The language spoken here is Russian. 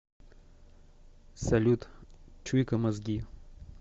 салют чуйка мозги